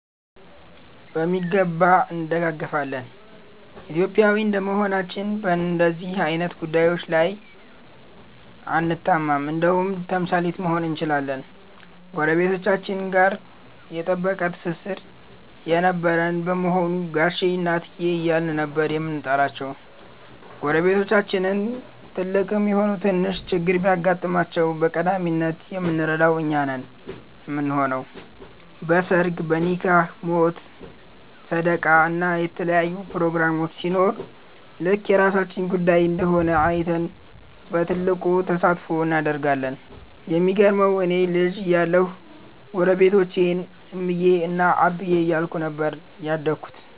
በሚገባ እንደጋገፋለን። ኢትዮጵያዊ እንደመሆናችን በንደዚህ አይነት ጉዳዬች ላይ አንታማም እንደውም ተምሳሌት መሆን እንችላለን። ጎረቤቶቻችን ጋ የጠበቀ ትስስር የነበረን በመሆኑ ጋሼ እና እትዬ እያልን ነበር የምንጠራቸው። ጎረቤቶቻችን ትልቅም ይሁን ትንሽ ችግር ቢገጥማቸው በቀዳሚነት የምንረዳው እኛ ነን ምንሆነው። በ ሰርግ፣ ኒካህ፣ ሞት፣ ሰደቃ እና የተለያዩ ፕሮግራሞች ሲኖር ልክ የራሳችን ጉዳይ እንደሆነ አይተን በትልቁ ተሳትፎ እናደርጋለን። የሚገርመው እኔ ልጅ እያለሁ ጎረቤቶቼን እምዬ እና አብዬ እያልኩኝ ነበር ያደግኩት።